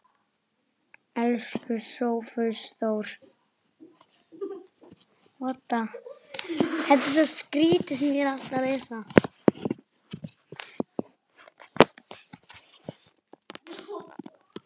Elsku Sófus Þór.